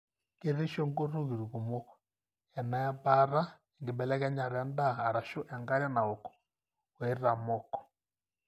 keretisho ntokiting kumok, ena ebaata, enkibelekenyata endaa arashu enkare naok o itaamok.